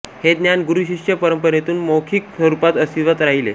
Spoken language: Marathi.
हे ज्ञान गुरूशिष्य परंपरेतून मौखिक स्वरूपात अस्तित्वात राहिले